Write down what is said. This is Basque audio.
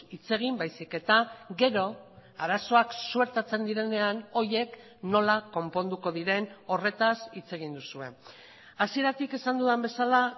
hitz egin baizik eta gero arazoak suertatzen direnean horiek nola konponduko diren horretaz hitz egin duzue hasieratik esan dudan bezala